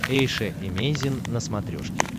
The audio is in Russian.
эйша эмейзин на смотрешке